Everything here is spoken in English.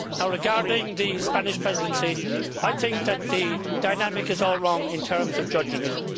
Regarding the Spanish Presidency, I think that the dynamic is all wrong in terms of judging it.